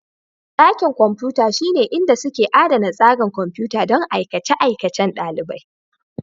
Dakin kwamfuta shine inda suke adana tsarin kwamfuta don aikace-aikacen ɗalibai.